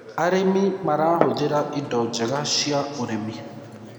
arĩmi marahuthira indo njega cia ũrĩmi